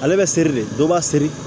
Ale bɛ seri de dɔ b'a seri